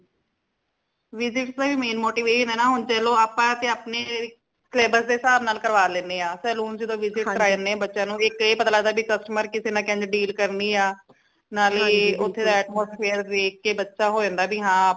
visits ਦਾ ਵੀ main motive ਏ ਹਨਾ ਚਲੋ ਆਪਾ ਤੇ ਆਪਣੇ syllabus ਦੇ ਹਿਸਾਬ ਨਾਲ ਕਰਵਾ ਲੈਨੇ ਹਾਂ saloon ਚ visit ਕਰਵਾਆਨੇ ਹਾਂ ਬੱਚਿਆਂ ਨੂ ਇਕ ਏ ਪਤਾ ਲਗਦਾ customer ਕਿਸੇ ਨਾਲ ਕਿੰਝ deal ਕਰਨੀ ਆ ਨਾਲੇ ਓਥੇ ਦਾ atmosphere ਵੇਖ ਕੇ ਬੱਚਾ ਹੋ ਜਾਂਦਾ ਹੈ ਹਾਂ ਆਪਾ